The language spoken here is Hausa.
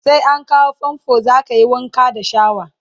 sai an kawo fanfo zakayi Wanka da shawa